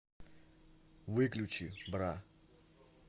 выключи бра